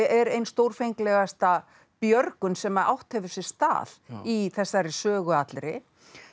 er ein stórfenglegasta björgun sem að átt hefur sér stað í þessari sögu allri